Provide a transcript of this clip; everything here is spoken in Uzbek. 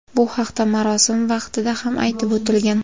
Bu haqda marosim vaqtida ham aytib o‘tilgan.